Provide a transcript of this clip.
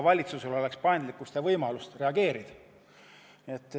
Valitsusel peaks olema paindlikkust ja võimalust reageerida.